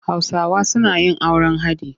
Hausawa suna yin auren haɗi.